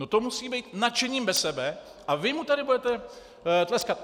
No to musí být nadšením bez sebe - a vy mu tady budete tleskat.